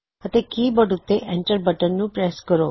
ਅਤੇ ਕੀਬੋਰਡ ਉੱਤੇ enter button ਨੂੰ ਪਰੈਸ ਕਰੋ